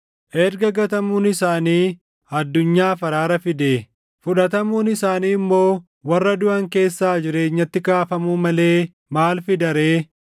Erga gatamuun isaanii addunyaaf araara fidee, fudhatamuun isaanii immoo warra duʼan keessaa jireenyatti kaafamuu malee maal fida ree?